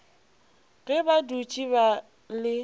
ge ba dutše ba le